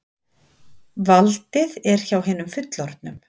Valdið er hjá hinum fullorðnu.